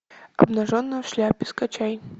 обнаженная в шляпе скачай